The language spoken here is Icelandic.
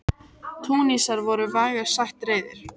Túnisar voru vægast sagt reiðir.